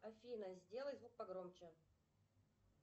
афина сделай звук погромче